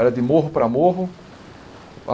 Era de morro para morro.